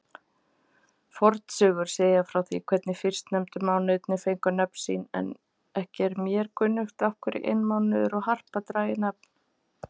Fornsögur segja frá því hvernig tveir fyrstnefndu mánuðirnir fengu nöfn sín, en ekki er mér kunnugt af hverju einmánuður og harpa dragi nafn.